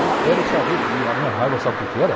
Eu quero saber, e a minha raiva sabe o quê que era?